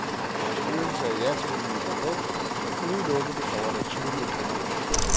Styrelsen sagde ja til det nye produkt, som udelukkende består af naturlige ingredienser.